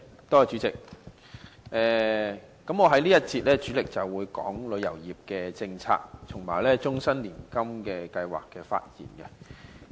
代理主席，我在這一節主要就旅遊業政策和終身年金計劃發言。